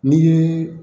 Ni